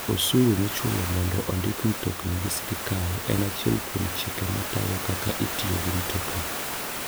Osuru michulo mondo ondik mtokni gi sirkal en achiel kuom chike matayo kaka itiyo gi mtokni.